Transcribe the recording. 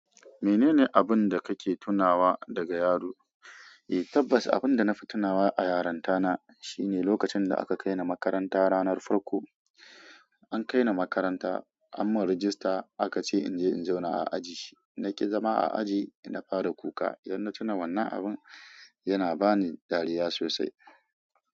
Menene abun da kake tunawa daga yaro? Eh tabbas abun da na fi tunawa a yaronta na shine lokacin da aka kai ni makaranta. Ranar farko an kai ni makaranta anyi mun rajista aka ce in je in zauna a aji. Na ƙi zama a aji na fara kuka. Yadda na tuna wannan abun yana ba ni dariya sosai.